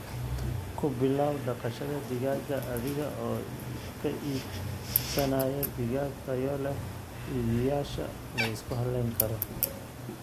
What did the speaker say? Ku bilow dhaqashada digaaga adiga oo ka iibsanaya digaag tayo leh iibiyeyaasha la isku halayn karo.